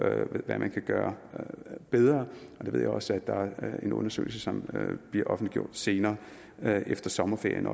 hvad man kan gøre bedre og der ved jeg også at der er en undersøgelse som bliver offentliggjort senere efter sommerferien